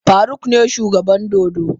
Faruk ne shugaban dodo?